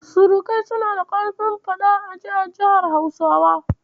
Surukai suna da ƙarfin faɗa-a-ji a ƙasar Hausawa.